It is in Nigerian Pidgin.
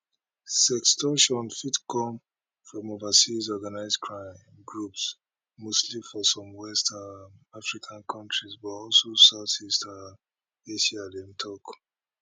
sextortion fit come from overseas organised crime groups mostly for some west um african kontries but also south east um asia dem tok